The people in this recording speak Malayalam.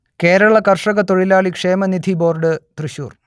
കേരള കർഷക തൊഴിലാളി ക്ഷേമനിധി ബോർഡ് തൃശ്ശൂർ